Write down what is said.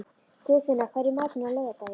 Guðfinna, hvað er í matinn á laugardaginn?